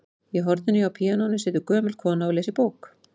Í horninu hjá píanóinu situr gömul kona og les í bók.